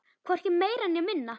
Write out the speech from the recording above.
Hvorki meira né minna.